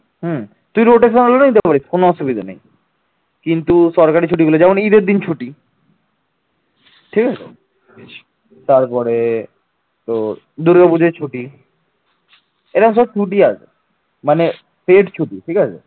মানে head ছুটি ঠিক আছে